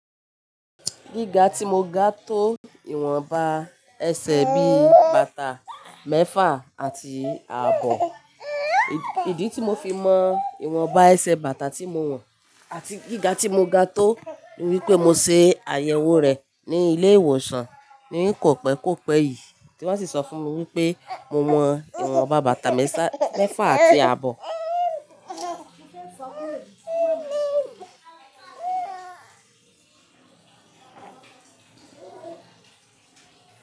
Gíga tí mo ga tó ìwọ̀nba ẹsẹ̀ bí bàtà mẹ́fà àti ààbọ̀. Ìdí tí mo fi mọ ìwọ̀nba ẹsẹ̀ bàtà tí mo wọ̀n àti gíga tí mo ga tó ni wípé mo se àyẹ̀wò rẹ̀ ní ilé ìwòsàn ní kòpẹ́kòpẹ́ yìí tí wón sì sọ fún mi wípé mo wọ̀n ìwọ̀nba bàtà mẹ́fà àti ààbọ̀.